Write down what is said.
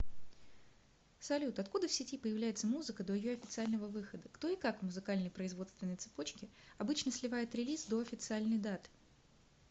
салют откуда в сети появляется музыка до ее официального выхода кто и как в музыкальной производственной цепочке обычно сливает релиз до официальной даты